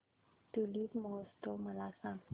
tulip महोत्सव मला सांग